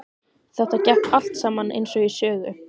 Þetta gekk allt saman eins og í sögu.